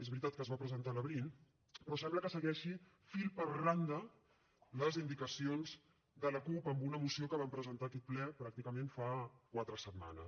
és veritat que es va presentar a l’abril però sembla que segueixi fil per randa les indicacions de la cup en una moció que van presentar a aquest ple pràcticament fa quatre setmanes